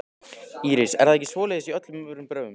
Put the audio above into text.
Íris: Er það ekki svoleiðis í öllum öðrum borgum?